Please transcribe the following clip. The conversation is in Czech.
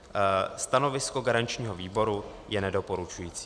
Stanovisko garančního výboru je nedoporučující.